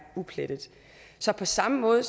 uplettet så på samme måde